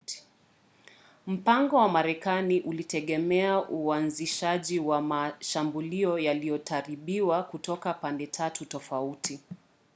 mpango wa marekani ulitegemea uanzishaji wa mashambulio yaliyoratibiwa kutoka pande tatu tofauti